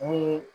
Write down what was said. Mun